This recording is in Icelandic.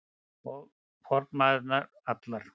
Og formæðurnar allar.